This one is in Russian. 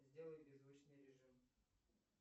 сделай беззвучный режим